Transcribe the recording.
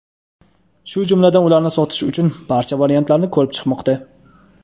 shu jumladan ularni sotish uchun "barcha variantlarni" ko‘rib chiqmoqda.